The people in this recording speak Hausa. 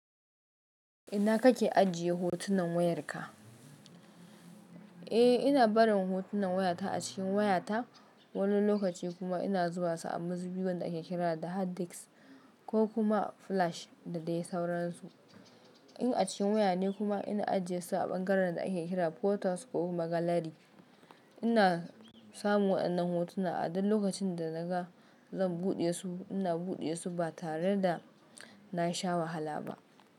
Ina kake ajiye hotunan wayarka? Eh, ina barin hotunan wayata a cikin wayata, wani lokaci kuma ina zuba su a muzubi da ake kira da hard disk ko kuma flash da dai sauransu. In a cikin waya ne kuma ina ajiye su a ɓangaren da ake kira photos ko kuma gallery. Ina samun waɗannan hotuna a duk lokacin da naga zan buɗe su. Ina buɗe su ba tare da nasha wahala ba.